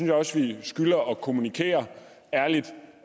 jeg også vi skylder at kommunikere ærligt